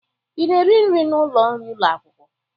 Ị na-eri nri n'ụlọ nri ụlọ akwụkwọ?